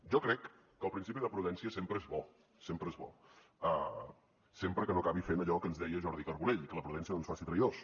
jo crec que el principi de prudència sempre és bo sempre és bo sempre que no acabi fent allò que ens deia jordi carbonell que la prudència no ens faci traïdors